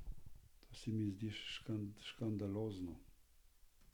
To se mi zdi škandalozno.